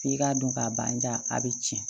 F'i k'a dɔn ka ban a bɛ tiɲɛ